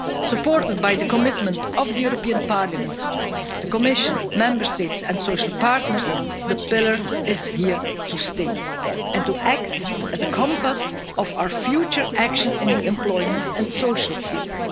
Supported by the commitment of the European Parliament, the Commission, Member States and social partners, the Pillar is here to stay to act as a compass of our future action in the employment and social fields.